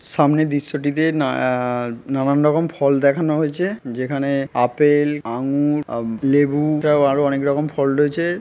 সামনে দৃশ্যটিতে না আ আ নানান রকম ফল দেখানো হয়েছে যেখানে আপেল আঙ্গুর আ লেবু প্রায় আরো অনেক রকম ফল রয়েছে ।